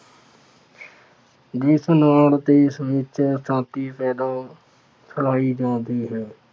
ਜਿਸ ਨਾਲ ਦੇਸ਼ ਵਿੱਚ ਅਸ਼ਾਤੀ ਪੈਦਾ ਹੁੰ ਫੈਲਾਈ ਜਾਂਦੀ ਹੈ।